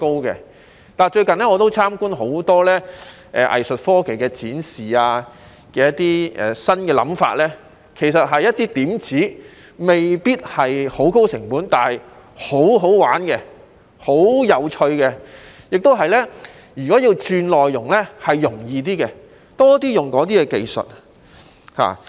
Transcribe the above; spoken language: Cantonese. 我最近參觀了很多藝術科技的展示，當中有些新想法其實只是一些點子，未必需要高成本，卻很好玩和有趣，如果要轉內容，亦會較容易，我希望可以多點使用這些技術。